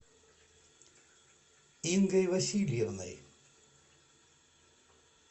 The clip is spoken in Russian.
ингой васильевной